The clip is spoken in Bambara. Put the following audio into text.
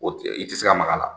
O e i tɛ se ka mak'a la.